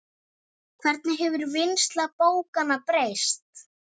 Hvernig hefur vinnsla bókanna breyst?